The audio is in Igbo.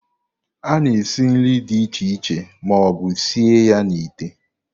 A na-esi nri dị iche iche ma ọ bụ sie ya n'ite.